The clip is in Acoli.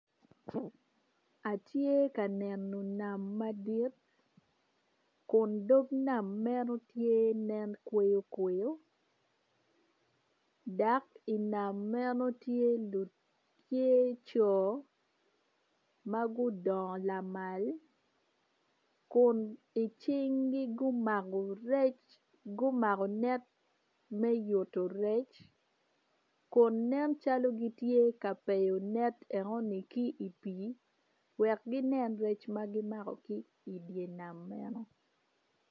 Atye ka neno nam madit kun dog nam meno tye nen kweyo kweyo dok i nam meno tye co ma gudongo lamal kun i cingi gumako rec gumako net me yuto rec kun nencalo gitye ka peyo net enoni ki i pii wek ginen rec ma gimako ki i dye nam meno.